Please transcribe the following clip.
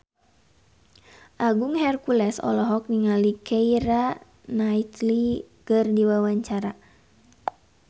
Agung Hercules olohok ningali Keira Knightley keur diwawancara